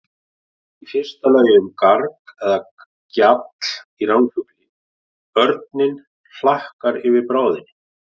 Í fyrsta lagi um garg eða gjall í ránfugli, örninn hlakkar yfir bráðinni.